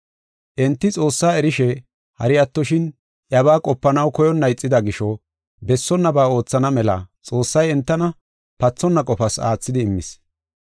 Enti Xoossaa erishe, hari attoshin iyabaa qopanaw koyonna ixida gisho, bessonnaba oothana mela Xoossay entana pathonna qofas aathidi immis.